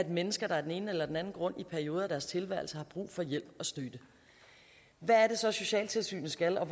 mennesker der af den ene eller den anden grund i perioder af deres tilværelse har brug for hjælp og støtte hvad er det så socialtilsynet skal og